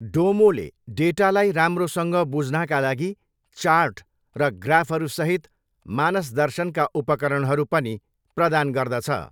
डोमोले डेटालाई राम्रोसँग बुझ्नाका लागि चार्ट र ग्राफहरूसहित मानसदर्शनका उपकरणहरू पनि प्रदान गर्दछ।